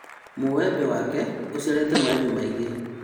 Mũembe wake ũciarĩte maembe maingĩ